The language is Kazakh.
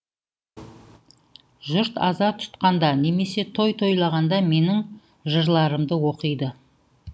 жұрт аза тұтқанда немесе той тойлағанда менің жырларымды оқиды